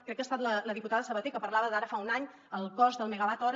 crec que ha estat la diputada sabater que parlava d’ara fa un any el cost del megawatt hora